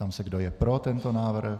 Ptám se, kdo je pro tento návrh.